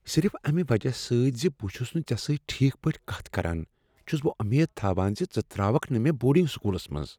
صرف امہ وجہ سۭتۍ ز بہٕ چھس نہٕ ژےٚ سۭتۍ ٹھیٖک پٲٹھۍ کتھ کران، چھس بہٕ وۄمید تھاوان ز ژٕ تراوکھ نہٕ مےٚ بورڈنگ سکولس منٛز ؟